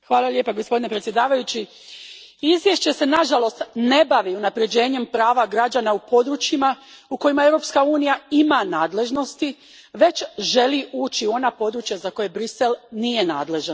Gospodine predsjedniče, izvješće se nažalost ne bavi unaprjeđenjem prava građana u područjima u kojima Europska unija ima nadležnosti, već želi ući u ona područja za koja Bruxelles nije nadležan.